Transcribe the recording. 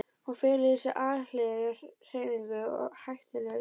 Hún felur í sér alhliða hreyfingu og er hættulaus.